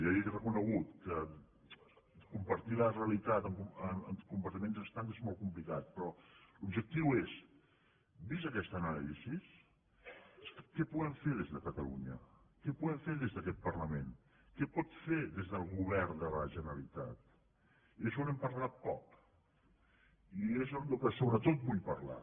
ja li ho he re·conegut que compartir la realitat en compartiments estancs és molt complicat però l’objectiu és vista aquesta anàlisi què podem fer des de catalunya què podem fer des d’aquest parlament què pot fer des del govern de la generalitat i d’això n’hem parlat poc i és del que sobretot vull parlar